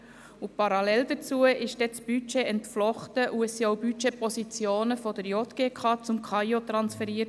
Parallel dazu wurde das Budget entflochten, und es wurden Budgetpositionen von der JGK zum Amt für Informatik und Organisation (KAIO) transferiert.